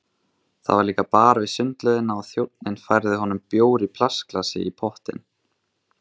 Það var líka bar við sundlaugina og þjónninn færði honum bjór í plastglasi í pottinn.